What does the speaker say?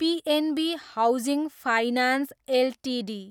PNB housing finance Ltd